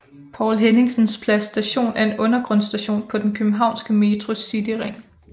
Poul Henningsens Plads Station er en undergrundsstation på den københavnske Metros cityring